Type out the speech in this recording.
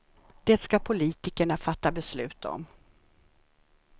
Det ska politikerna fatta beslut om.